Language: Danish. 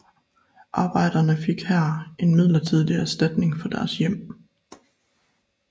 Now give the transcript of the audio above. Arbejderne fik her en midlertidig erstatning for deres hjem